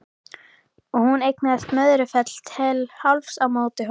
Og hún eignaðist Möðrufell til hálfs á móti honum.